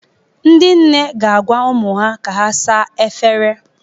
Ndị nne ga-agwa ụmụ ha ka ha saa efere.